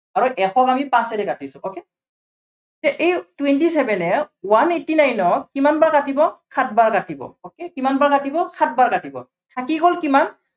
আৰু এশক আমি পাঁচেৰে কাটিছো okay এই twenty seven এ one eighty nine ক কিমান বাৰ কাটিব, সাত বাৰ কাটিব। okay কিমান বাৰ কাটিব, সাতবাৰ কাটিব। থাকি গল কিমান